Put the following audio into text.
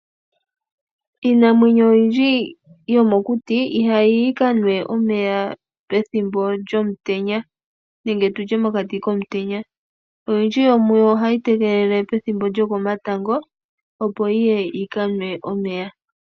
Iinamwenyo oyindji yo mokuti ihayi kanwa omeya pethimbo lyomutenya. Oyindji yomuyo ohayi tegelele ethimbo lyokomatango opo yi kanwe omeya.